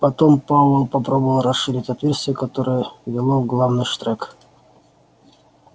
потом пауэлл попробовал расширить отверстие которое вело в главный штрек